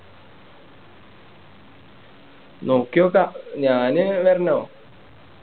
നോക്കി നോക്കാം ഞാന് അഹ് വരണ